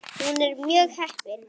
Hún er mjög heppin.